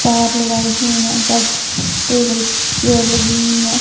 तार लगाए हुए है बट टेबल चेयर लगी हुई है।